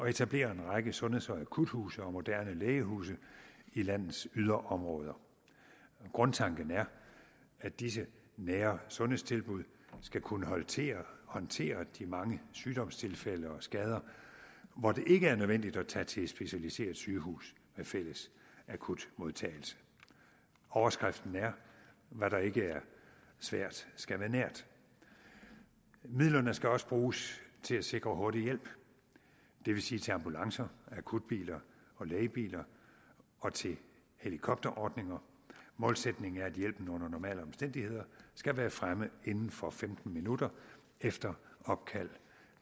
at etablere en række sundheds og akuthuse og moderne lægehuse i landets yderområder grundtanken er at disse nære sundhedstilbud skal kunne håndtere håndtere de mange sygdomstilfælde og skader hvor det ikke er nødvendigt at tage til et specialiseret sygehus med fælles akutmodtagelse overskriften er at hvad der ikke er svært skal være nært midlerne skal også bruges til at sikre hurtig hjælp det vil sige til ambulancer akutbiler og lægebiler og til helikopterordninger målsætningen er at hjælpen under normale omstændigheder skal være fremme inden for femten minutter efter opkald